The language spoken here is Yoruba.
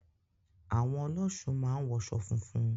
Àwọn ọlọ́ṣun máa ń wọṣọ funfun.